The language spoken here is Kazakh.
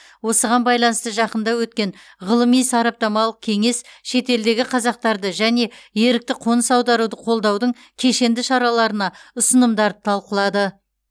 осыған байланысты жақында өткен ғылыми сараптамалық кеңес шетелдегі қазақтарды және ерікті қоныс аударуды қолдаудың кешенді шараларына ұсынымдарды талқылады